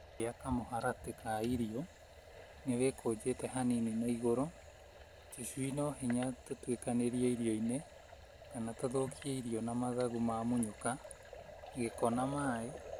gĩa kamũharatĩ ka irio nĩwĩkonjete hanini na igũrũ, tũcui no hinya tũtwĩkanĩrie irio-inĩ na tũthũkie irio na mathagu mamunyũku, gĩko na mai